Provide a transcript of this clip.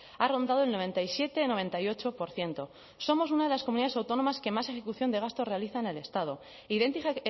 ha rondado el noventa y siete noventa y ocho por ciento somos una de las comunidades autónomas que más ejecución de gasto realiza en el estado idéntica